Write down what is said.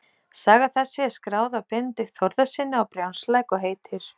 Saga þessi er skráð af Benedikt Þórðarsyni á Brjánslæk og heitir